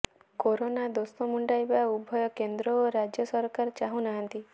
corona ଦୋଷ ମୁଣ୍ଡାଇବା ଉଭୟ କେନ୍ଦ୍ର ଓ ରାଜ୍ୟ ସରକାର ଚାହୁଁନାହାନ୍ତି